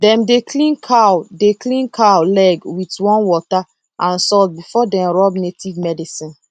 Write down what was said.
dem dey clean cow dey clean cow leg wit warm water and salt before dem rub native medicine